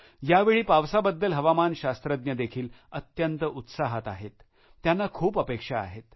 यावेळी पावसाबद्दल हवामान शास्त्रज्ञ देखील अत्यंत उत्साहात आहेत त्यांना खूप अपेक्षा आहेत